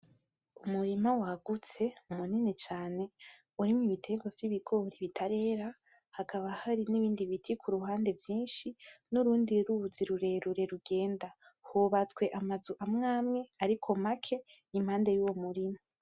Umurima wagutse, munini cane warimwo ibiterekwa vy'ibigori bitarera, hakaba hari nibindi biti ku ruhande vyinshi nurundi ruzi rurerure rugenda, hubatswe amazu amwe amwe ariko make impande y'uwo murima.